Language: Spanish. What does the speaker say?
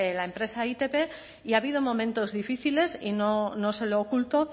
la empresa itp y ha habido momentos difíciles y no se lo oculto